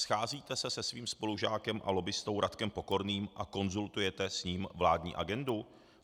Scházíte se se svým spolužákem a lobbistou Radkem Pokorným a konzultujete s ním vládní agendu?